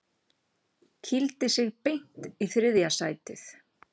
Kýldi sig beint í þriðja sætið